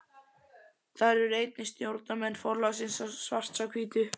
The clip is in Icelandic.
Þar eru einnig stjórnarmenn forlagsins Svarts á hvítu.